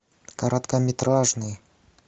короткометражный